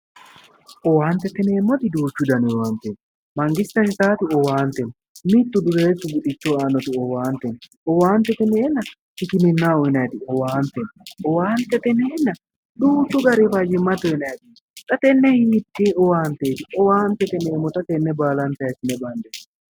Owaantete yineemmoti duuchu danni owaanteti, mangiste uyittati owaante no, mitu dureesu buxichoho aanoti owaante no, owaantete yinnenna hikkiminaho uyinati owaante no, owaantete yinnenna duuchu gari fayimate uyinaniti owaante no, xa hiite owaanteti owaantete yineemmotta hiisine bandeemmo?